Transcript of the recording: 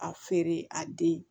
A feere a den